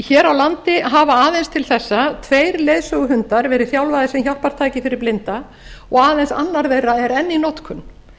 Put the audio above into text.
hér á landi hafa aðeins til þessa tveir leiðsöguhundar verið þjálfaðir sem hjálpartæki fyrir blinda og aðeins annar þeirra er enn í notkun